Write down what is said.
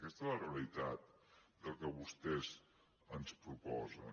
aquesta és la realitat del que vostès ens proposen